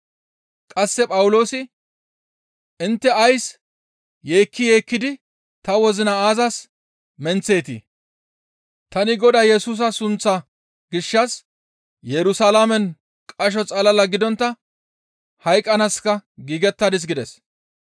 Qasse Phawuloosi, «Intte ays yeekki yeekkidi ta wozina aazas menththeetii? Tani Godaa Yesusa sunththaa gishshas Yerusalaamen qasho xalala gidontta hayqqanaaska giigettadis» gides.